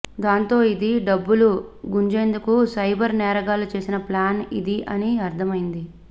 దాంతో ఇది డబ్బులు గుంజేందుకు సైబర్ నేరగాళ్లు వేసిన ప్లాన్ ఇది అని అర్థమైంది